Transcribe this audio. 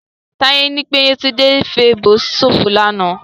Táyé ní pé Yétúndé ń fèèbó ṣòfò lánàá